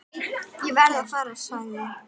Ég verð að fara, sagði